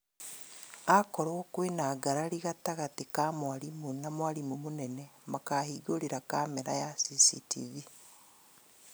Akorwo kwĩna ngarari gatagatĩ ka na mwarimũ na mwarimũ mũnene makahingũrĩra kamera ya CCTV